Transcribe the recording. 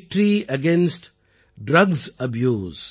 victory against drugs abuse